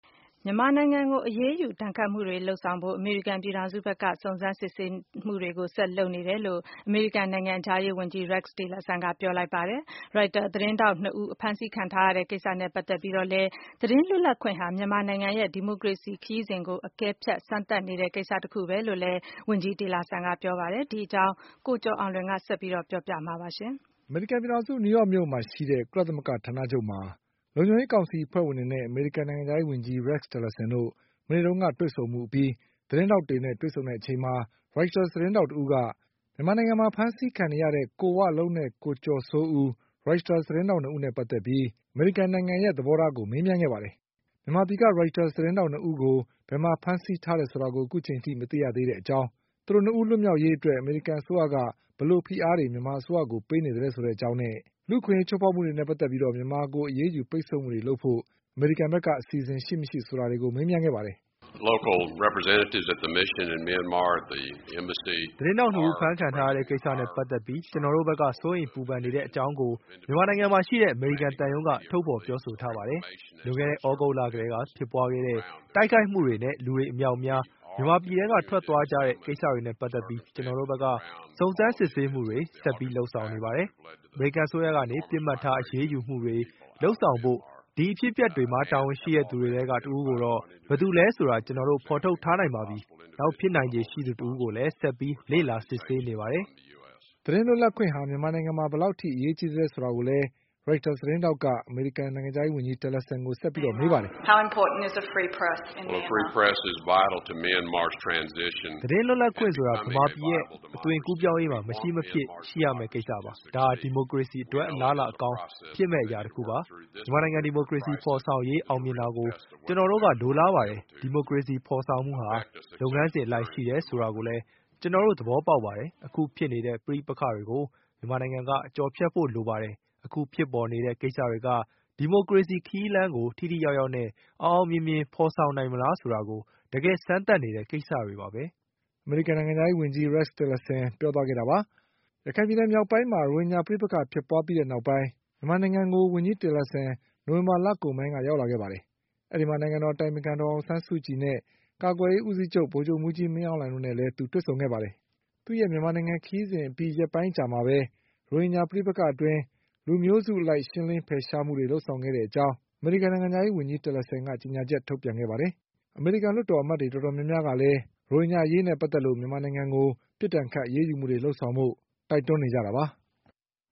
မြန်မာနိုင်ငံကိုအရေးယူဒဏ်ခတ်မှုတွေလုပ်ဆောင် ဖို့အမေရိကန်ပြည်ထောင်စုဘက်က စုံစမ်းစစ်ဆေးတာတွေကိုဆက်ပြီး လုပ်နေတယ်လို့ အမေရိကန်နိုင်ငံခြားရေးဝန်ကြီး Rex Tillersonက ပြောလိုက်ပါတယ်။ Reuters သတင်းထောက်၂ဦး အဖမ်းဆီးခံထားရတဲ့ကိစ္စနဲ့ပတ်သက်ပြီး သတင်းလွတ်လပ်ခွင့်ဟာ မြန်မာနိုင်ငံရဲ့ဒီမိုကရေစီခရီးစဉ်ကို အကဲဖြတ်စမ်း သတ်နေတဲ့ကိစ္စတခုပဲလို့လည်း ဝန်ကြီးတေလာဆန်ကပြောပါတယ်။ ဒီအကြောင်း ကိုကျော်အောင်လွင်က ဆက်ပြီး ပြောပြပါလိမ့်မယ်။ အမေရိကန်ပြည်ထောင်စု နယူးယောက်မြို့မှာရှိတဲ့ ကုလသမဂ္ဂဌာနချုပ်မှာ လုံခြုံရေးကောင်စီအဖွဲ့ဝင်တွေနဲ့အမေရိကန် နိုင်ငံခြားရေးဝန်ကြီး Rex Tillersonတို့ မနေ့က တွေ့ဆုံမှု အပြီး သတင်းထောက်တွေနဲ့တွေ့ဆုံချိန်မှာ Reuters သတင်း ထောက် တဦးက မြန်မာနိုင်ငံမှာအဖမ်းအဆီးခံနေရတဲ့ ကို ဝလုံးနဲ့ကိုကျော်စိုးဦး Reuters သတင်းထောက်၂ဦးတို့နဲ့ ပတ်သက်လို့ အမေရိကန်နိုင်ငံရဲ့သဘောထားကို မေးမြန်းခဲ့ပါတယ်။ မြန်မာပြည်ကReuters သတင်းထောက်၂ဦးကို ဘယ်မှာဖမ်းဆီးထားတယ်ဆိုတာကို အခုချိန်ထိမ သိရသေးတဲ့ကြောင်း။ သူတို့၂ဦးလွတ်မြောက်ရေးအတွက် အမေရိကန် အစိုးရက ဘယ်လိုဖိအားတွေ မြန်မာအစိုးရကိုပေး နေသလဲဆိုတဲ့အကြောင်းနဲ့ လူ့အခွင့်အရေးချိုးဖေါက်မှုတွေနဲ့ ပတ်သက်ပြီး မြန်မာကိုအရေးယူပိတ်ဆို့မှုတွေလုပ်ဖို့အစီ အစဉ်တွေ အမေရိကန်ဘက်က ရှိမရှိဆိုတာတွေကို မေးခဲ့ပါတယ်။ "သတင်းထောက်၂ဦးအဖမ်းခံထားရတဲ့ကိစ္စနဲ့ပတ်သက်ပြီး ကျနော်တို့ဘက်ကစိုးရိမ်ပူပမ်နေတဲ့အကြောင်းကို မြန်မာနိုင်ငံ မှာရှိတဲ့အမေရိကန်သံရုံးက ထုတ်ဖေါ်ပြောဆိုထားပါတယ်။ လွန်ခဲ့တဲ့သြဂုတ်လလောက်ကတည်းကဖြစ်ပွါးခဲ့တဲ့ တိုက်ခိုက် မှုတွေနဲ့ လူတွေအမြောက်အများမြန်မာပြည်ထဲကထွက်ခွါသွားကြတဲ့ကိစ္စတွေနဲ့ပတ်သက်ပြီး ကျနော်တို့ဘက်က စုံစမ်းစစ် ဆေးမှုတွေကို ဆက်ပြီးလုပ်ဆောင်နေပါတယ်။ အမေရိကန်အစိုးရကနေပစ်မှတ်ထားအရေးယူမှုတွေလုပ်ဆောင်ဖို့ ဒီအဖြစ်အပျက်တွေမှာတာဝန်ရှိတဲ့သူတွေထဲက တဦးကိုတော့ ဘယ်သူ လဲဆိုတာကို ကျနော်တို့ဖေါ်ထုတ်ထားနိုင်ပါပြီ။ နောက်ဖြစ်နိုင်ခြေရှိသူတဦးကိုလည်း ဆက်ပြီးလေ့လာစစ်ဆေးနေပါတယ်။" သတင်းလွတ်လပ်ခွင့်ဟာ မြန်မာနိုင်ငံမှာ ဘယ်လောက်အရေးကြီးပါသလဲလို့ ရိုက်တာသတင်းထောက်က အမေရိကန် နိုင်ငံခြားရေးဝန်ကြီး တလ်လာဆန်ကိုဆက်ပြီးမေးပါတယ်။ "သတင်းလွတ်လပ်ခွင့်ဆိုတာက မြန်မာပြည်ရဲ့အသွင်ကူးပြောင်းရေးမှာ မရှိမဖြစ် ရှိရမယ့်ကိစ္စပါ။ ဒါက ဒီမိုကရေစီ အတွက်အလားအလာကောင်းတခုဖြစ်လာမယ့်အရာပါ။ မြန်မာနိုင်ငံ ဒီမိုကရေစီဖေါ်ဆောင်ရေးအောင်မြင်တာကို ကျနော်တို့ကလိုလားပါတယ်။ ဒီမိုကရေစီဖေါ်ဆောင်မှုဟာ လုပ်ငန်းစဉ်အလိုက်ရှိတယ်ဆိုတာကိုလည်း ကျနော်တို့ သဘောပေါက်ပါတယ်။ အခုဖြစ်ပျက်နေတဲ့ပဋိပက္ခတွေကို မြန်မာနိုင်ငံက ကျော်ဖြတ်နိုင်ဖို့လိုပါတယ်။ အခုဖြစ်ပေါ်နေတဲ့ ကိစ္စတွေက ဒီမိုကရေစီခရီးလမ်းကိုထိထိရောက်ရောက်နဲ့အောင်အောင်မြင်မြင်ဖေါ်ဆောင်နိုင်မလားဆိုတာကို တကယ် စမ်းသပ်နေတဲ့ကိစ္စတွေပါပဲ" အမေရိကန်နိုင်ငံခြားရေးဝန်ကြီး Rex Tillerson ပြောသွားခဲ့တာပါ။ ရခိုင်ပြည်နယ်မြောက်ပိုင်းက ရိုဟင်ဂျာပဋိပက္ခဖြစ်ပွါး ပြီးနောက်ပိုင်း မြန်မာနိုင်ငံကို ဝန်ကြီးTillerson နိုဝင်ဘာလကုန်ပိုင်းကရောက်လာခဲ့ပြီး၊ နိုင်ငံတော်အတိုင်ပင်ခံ ဒေါ်အောင်ဆန်းစုကြည်နဲ့ ကာကွယ်ရေးဦးစီးချုပ်ဗိုလ်ချုပ်မှုးကြီးမင်းအောင်လှိုင်တို့နဲ့သူတွေ့ဆုံခဲ့ပါတယ်။ သူ့ရဲ့မြန်မာနိုင်ငံ ခရီးစဉ်အပြီးရက်ပိုင်းအကြာမှာပဲ ရိုဟင်ဂျာပဋိပက္ခအတွင်း လူမျိုးနွယ်စုအလိုက်ရှင်းလင်းဖယ်ရှားမှုတွေလုပ်ဆောင်ခဲ့တဲ့ အကြောင်း အမေရိကန်နိုင်ငံခြားရေးဝန်ကြီး Tillersonက ကြေညာချက်ထုတ်ခဲ့ပါတယ်။ အမေရိကန်လွှတ်တော် အမတ်တွေတော်တော်များများကလည်း ရိုဟင်ဂျာအရေးနဲ့ပတ်သက်ပြီး မြန်မာနိုင်ငံကို ပြစ်ဒဏ်ခတ်အရေးယူမှုတွေလုပ်ဆောင်ဖို့ တိုက်တွန်းနေကြတာပါ။